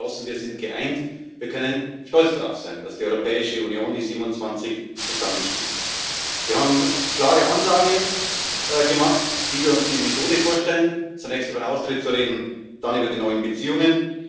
Wir sind geschlossen, wir sind geeint, wir können stolz darauf sein, dass die Europäische Union, die 27, zusammenstehen. Wir haben eine klare Ansage gemacht, wie wir uns die Methode vorstellen, zunächst über den Austritt zu reden, dann über die neuen Beziehungen.